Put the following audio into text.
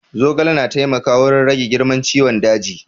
Zogale na taimaka wurin rage girman ciwon daji